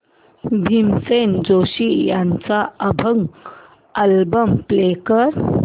भीमसेन जोशी यांचा अभंग album play कर